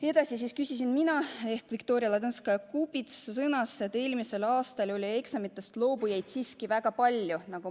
Edasi sõnasin mina, et eelmisel aastal oli eksamitest loobujaid siiski väga palju.